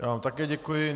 Já vám také děkuji.